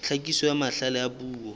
tlhakiso ya mahlale a puo